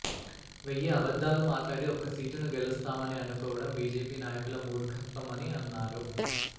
వెయ్యి అబద్దాలు మాట్లాడి ఒక్క సీటును గెలుస్తామని అనుకోవడం బీజేపీనాయకుల మూర్ఖత్వమని అన్నారు